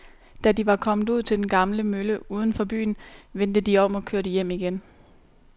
Da de var kommet ud til den gamle mølle uden for byen, vendte de om og kørte hjem igen.